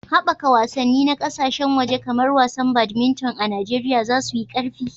Ana sa ran yunƙurin ƙaddamarwa da haɓaka wasanni na ƙasashen waje kamar wasan badminton a Najeriya za su yi ƙarfi.